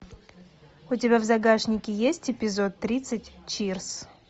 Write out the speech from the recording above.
у тебя в загашнике есть эпизод тридцать чирс